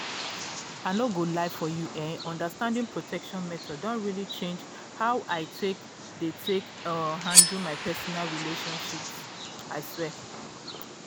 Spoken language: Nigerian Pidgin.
i no go lie for you eh understanding protection methods don really change how i take dey take um handle my personal relationships. um